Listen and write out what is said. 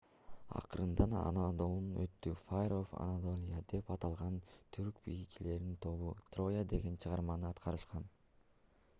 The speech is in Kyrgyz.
акырында анадолунун оту fire of anadolia деп аталган түрк бийчилеринин тобу троя деген чыгарманы аткарышкан